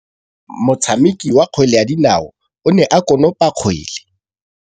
Motshameki wa kgwele ya dinaô o ne a konopa kgwele.